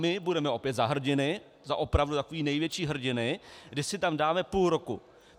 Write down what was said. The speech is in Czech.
My budeme opět za hrdiny, za opravdu takové největší hrdiny, kdy si tam dáme půl roku.